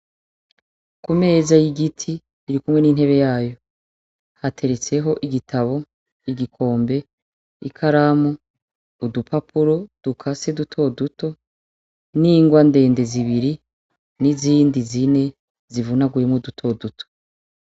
Kumeza y’igiti irikumwe n’intebe yayo, hateretseho igitabo, igikombe, ikaramu, udupapuro dukase duto duto n’ingwa ndende zibiri n’izindi zine zivunaguyemwo duto duto.